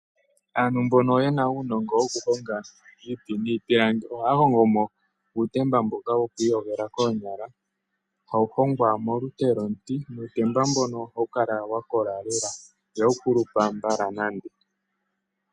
Aantu mbono yena uunongo woku honga iiti niipilangi ohaya hongo mo uutemba mboka woku iyogela koonyala. Ohawu hongwa molupe lwomuti ohawu kala wa kola lela ihawu kulupa mbala nande.